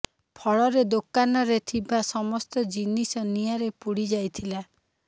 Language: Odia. ଫଳରେ ଦୋକାନରେ ଥିବା ସମସ୍ତ ଜିନିଷ ନିଆଁରେ ପୋଡି ଯାଇଥିଲା